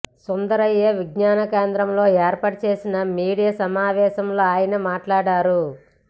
సుందరయ్య విజ్ఞానకేంద్రంలో ఏర్పాటు చేసిన మీడియా సమావేశంలో ఆయన మాట్లాడారు